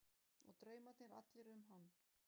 Og draumarnir allir um hann.